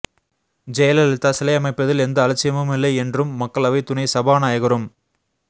ஜெயலலிதா சிலை அமைப்பதில் எந்த அலட்சியமும் இல்லை என்றும் மக்களவை துணை சபாநாயகரும்